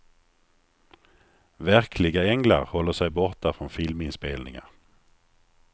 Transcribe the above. Verkliga änglar håller sig borta från filminspelningar.